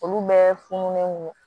Olu bɛɛ fununen don